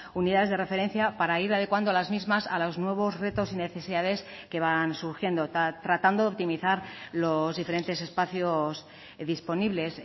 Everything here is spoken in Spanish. unidades de referencia para ir adecuando las mismas a los nuevos retos y necesidades que van surgiendo tratando de optimizar los diferentes espacios disponibles